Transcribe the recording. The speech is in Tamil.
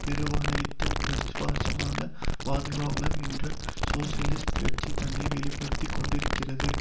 பெருவணிகத்தின் விசுவாசமான பாதுகாப்பாளர் என்று சோசியலிஸ்ட் கட்சி தன்னை வெளி படுத்தி கொண்டிருக்கிறது